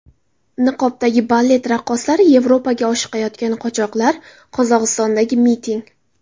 Niqobdagi balet raqqosalari, Yevropaga oshiqayotgan qochoqlar, Qozog‘istondagi miting.